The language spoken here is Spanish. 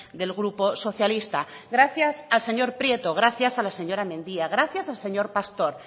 del grupo socialista gracias al señor prieto gracias a la señora mendia gracias al señor pastor